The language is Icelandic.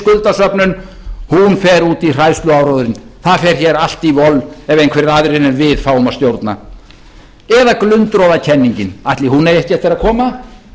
skuldasöfnun hún fer út í hræðsluáróðurinn það fer hér allt í voll ef einhverjir aðrir en við fá að stjórna eða glundroðakenningin ætli hún eigi ekki eftir að koma